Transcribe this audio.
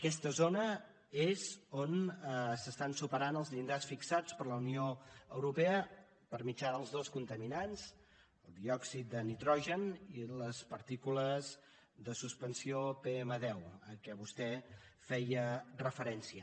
aquesta zona és on s’estan superant els llindars fixats per la unió europea per mitjà dels dos contaminants el diòxid de nitrogen i les partícules de suspensió pm10 a què vostè feia referència